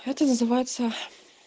это называется